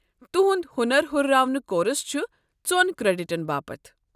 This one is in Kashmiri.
تہنٛد ہُنر ہٗرراونُک کورس چھ ژۄن کریڈٹن باپت۔